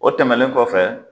O tɛmɛnen kɔfɛ